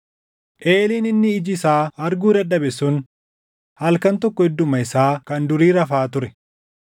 Eeliin inni iji isaa arguu dadhabe sun halkan tokko idduma isaa kan durii rafaa ture.